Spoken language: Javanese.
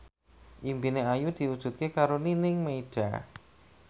impine Ayu diwujudke karo Nining Meida